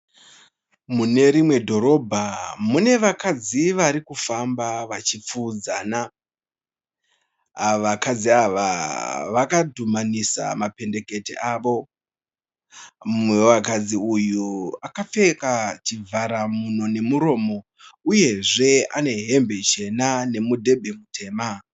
Mune rimwe dhorobha mune vakadzi varikufamba vachipfuudzana . Ava vakadzi ava vakadhumanisa mapendekete avo. Mumwe wevakadzi uyu akapfeka chivhara mhuno nemuromo uyezve anehembe chena nemudhebhe mutema.